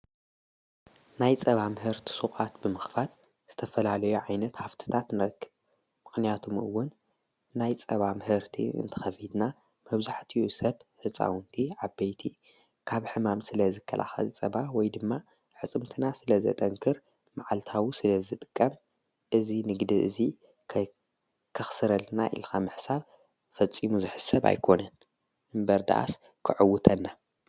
ናይ ፀባ ምህርቲ ሱቓት ብምኽፍት ዝተፈላለዮ ዓይነት ሃፍትታት ነክ ምኽንያቱም እውን ናይ ጸባ ምህርቲ እንተኸፊትና መብዛሕኡ ሰብ ህፃውንቲ ዓበይቲ ካብ ሕማም ስለ ዝከላከል ፀባ ወይ ድማ አዕጽምትና ስለ ዘጠንክር መዓልታዊ ስለ ዝጥቀም እዚ ንግዲ እዚ ከኽስረልና ኢልካ ምሕሳብ ፈጺሙ ዝሕሰብ ኣይኮነን። እምበር ደኣስ ከዐውተና።